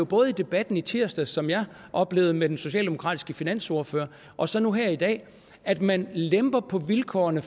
både i debatten i tirsdags som jeg oplevede med den socialdemokratiske finansordfører og så nu her i dag at man lemper på vilkårene